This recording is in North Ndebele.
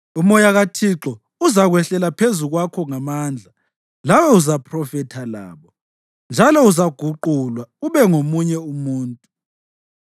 UMoya kaThixo uzakwehlela phezu kwakho ngamandla, lawe uzaphrofetha labo, njalo uzaguqulwa ube ngomunye umuntu.